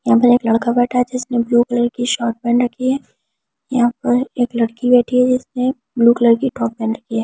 यहां पर एक लड़का बैठा है जिसने ब्लू कलर की शॉर्ट पहन रखी है यहां पर एक लड़की बैठी है जिसने ब्लू कलर की टॉप पहन रखी है।